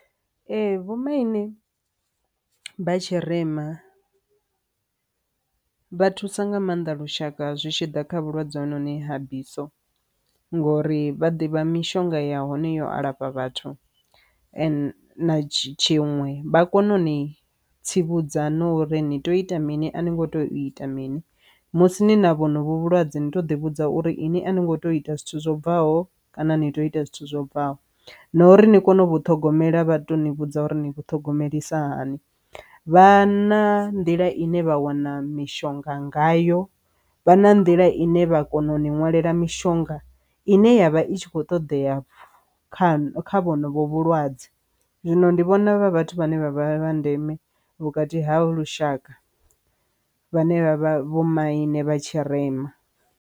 Ee, vhomaine vha tshirema vha thusa nga maanḓa lushaka zwi tshi ḓa kha vhulwadze ha noni ha biso ngori vha ḓivha mishonga ya hone yo alafha vhathu ane na tshiṅwe vha kone uni tsivhudza ngo uri ni tea u ita mini a ni ngo tea u ita mini musi ni na vhonovhu vhulwadze ni to ḓi vhudza uri iṅwi a ni ngo to ita zwithu zwo bvaho kana ni tea u ita zwithu zwobvaho na uri ni kone u ṱhogomela vha to ni vhudza uri ni vhu thogomelisiwa hani vhana, nḓila ine vha wana mishonga ngayo vha na nḓila ine vha kona u nwalela mishonga ine yavha i tshi kho ṱoḓea pfufho kha kha vhonovhu vhulwadze. Zwino ndi vhona vhathu vhane vha vha vha ndeme vhukati ha lushaka vhane vha vha vhomaine vha tshirema.